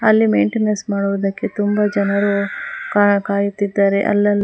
ಅಲ್ಲಿ ಮೆಂಟೇನೆನ್ಸ್ ಮಾಡುವುದಕ್ಕೆ ತುಂಬಾ ಜನರು ಕಾಯುತ್ತಿದ್ದಾರೆ ಅಲ್ಲಲ್ಲಿ.